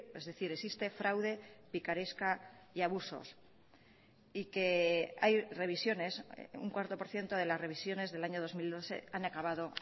es decir existe fraude picaresca y abusos y que hay revisiones un cuatro por ciento de las revisiones del año dos mil doce han acabado